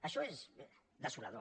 això és desolador